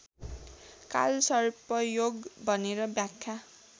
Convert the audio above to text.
कालसर्पयोग भनेर व्याख्या